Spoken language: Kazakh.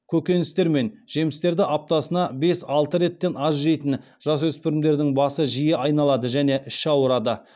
көкөністер мен жемістерді аптасына бес алты реттен аз жейтін жасөспірімдердің басы жиі айналады және іші ауырады